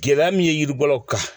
Gɛlɛya min ye yiribɔlaw kan